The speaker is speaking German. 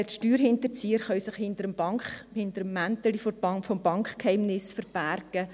Die Steuerhinterzieher hingegen können sich hinter dem Mäntelchen des Bankgeheimnisses verbergen.